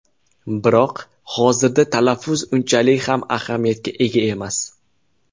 Biroq hozirda talaffuz unchalik ham ahamiyatga ega emas.